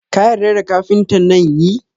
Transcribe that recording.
Ka yarda da kafinta nan?yi